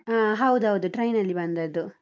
ಹಾ ಹೌದೌದು, train ನಲ್ಲಿ ಬಂದದ್ದು.